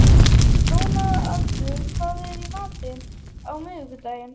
Dónaldur, hvað er í matinn á miðvikudaginn?